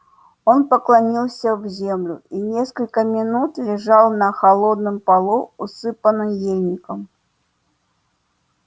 он поклонился в землю и несколько минут лежал на холодном полу усыпанный ельником